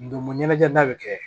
Ndolo ɲɛnajɛ bɛ kɛ